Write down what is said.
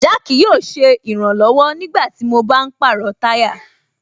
Jack yóò ṣe ìrànlọ̀wọ̀ nígbàtí mo bá ń pàrọ̀ táyà